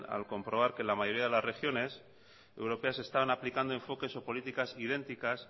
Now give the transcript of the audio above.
al comprobar que la mayoría de las regiones europeas estaban aplicando enfoques o políticas idénticas